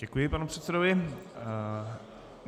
Děkuji panu předsedovi.